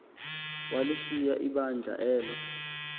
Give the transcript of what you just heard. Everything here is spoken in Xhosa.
walishiya ibandla elo